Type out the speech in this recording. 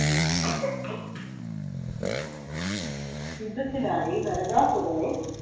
യുദ്ധത്തിനായി നരകാസുരനെ